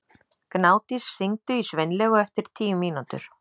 Gnádís, hringdu í Sveinlaugu eftir tíu mínútur.